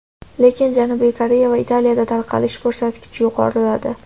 Lekin Janubiy Koreya va Italiyada tarqalish ko‘rsatkichi yuqoriladi.